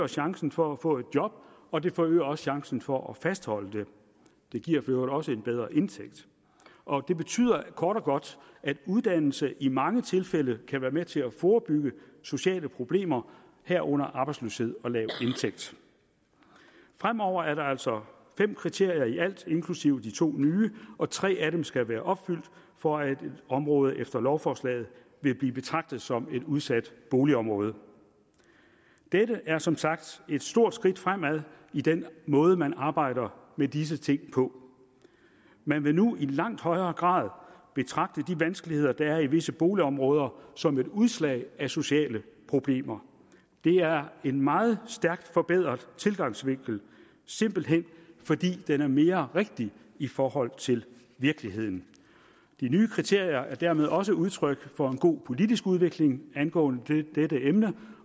chancen for at få et job og det forøger også chancen for at fastholde det det giver for øvrigt også en bedre indtægt og det betyder kort og godt at uddannelse i mange tilfælde kan være med til at forebygge sociale problemer herunder arbejdsløshed og lav indtægt fremover er der altså fem kriterier i alt inklusive de to nye og tre af dem skal være opfyldt for at et område efter lovforslaget vil blive betragtet som et udsat boligområde dette er som sagt et stort skridt fremad i den måde man arbejder med disse ting på man vil nu i langt højere grad betragte de vanskeligheder der er i visse boligområder som et udslag af sociale problemer det er en meget stærkt forbedret tilgangsvinkel simpelt hen fordi den er mere rigtig i forhold til virkeligheden de nye kriterier er dermed også udtryk for en god politisk udvikling angående dette emne